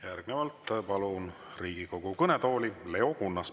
Järgnevalt palun Riigikogu kõnetooli Leo Kunnase.